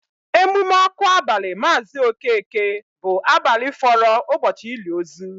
Emume ọkụ abali Maazi Okeke bụ abalị fọrọ ụbọchị ili ozu